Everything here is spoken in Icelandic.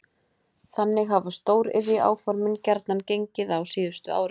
Þannig hafa stóriðjuáformin gjarnan gengið á síðustu árum.